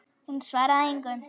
Hún svaraði engu.